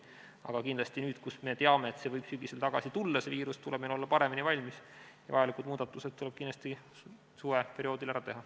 Aga kindlasti nüüd, kui me teame, et see viirus võib sügisel tagasi tulla, tuleb meil olla paremini valmis ja muudatused tuleb kindlasti suveperioodil ära teha.